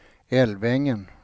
Älvängen